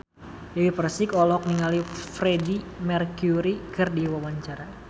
Dewi Persik olohok ningali Freedie Mercury keur diwawancara